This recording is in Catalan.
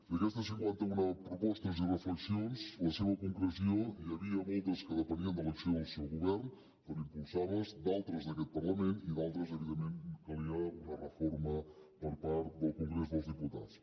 d’aquestes cinquanta una propostes i reflexions la seva concreció n’hi havia moltes que depenien de l’acció del seu govern per impulsar les d’altres d’aquest parlament i en d’altres evidentment calia una reforma per part del congrés dels diputats